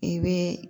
I bɛ